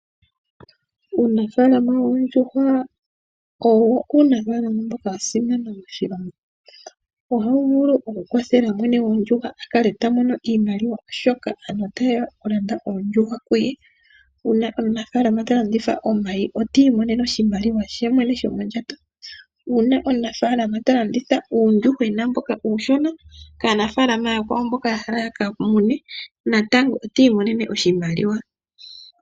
Uunafalama woondjuwa owo uunafalama mboka wa simana moshilongo. Ohawu vulu okukwathela mwene goondjuhwa a kale ta mono iimaliwa, oshoka aantu otaye ya okulanda oondjuhwa kuye. Uuna omunafalama ta landitha omayi otiimonene oshimaliwa she mwene shomondjato. Uuna omunafalama ta landitha uuyuhwena mboka uushona kaanafalama ooyakwawo mboka ya hala ya ka mune, natango oti imonene oshimaliwa.